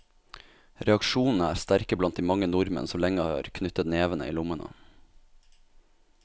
Reaksjonene er sterke blant de mange nordmenn som lenge har knyttet nevene i lommene.